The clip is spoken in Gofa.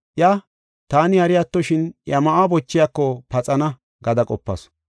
Iya, “Taani hari attoshin iya ma7uwa bochiyako paxana” gada qopasu.